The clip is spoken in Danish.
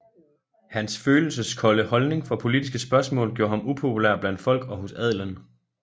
Hans følelseskolde holdning for politiske spørgsmål gjorde ham upopulær blandt folk og hos adelen